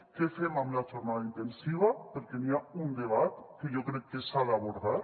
què fem amb la jornada intensiva perquè hi ha un debat que jo crec que s’ha d’abordar